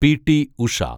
P T Usha